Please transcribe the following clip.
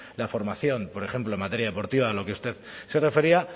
la formación por ejemplo en materia deportiva a lo que usted se refería